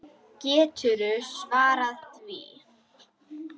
Geturðu svarað því?